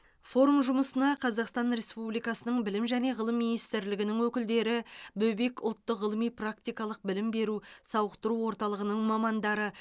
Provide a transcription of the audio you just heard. форум жұмысына қазақстан республикасының білім және ғылым министрлігінің өкілдері бөбек ұлттық ғылыми практикалық білім беру сауықтыру орталығының мамандары